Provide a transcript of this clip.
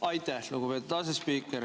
Aitäh, lugupeetud asespiiker!